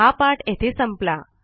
हा पाठ येथे संपला